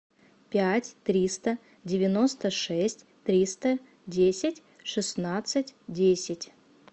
пять триста девяносто шесть триста десять шестнадцать десять